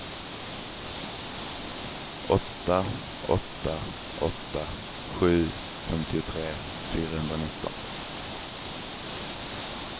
åtta åtta åtta sju femtiotre fyrahundranitton